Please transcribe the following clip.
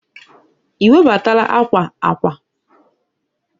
i webatala akwa akwa?